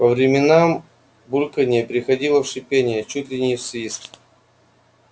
по временам бульканье переходило в шипение чуть ли не в свист